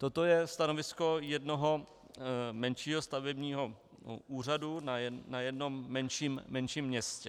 Toto je stanovisko jednoho menšího stavebního úřadu na jednom menším městě.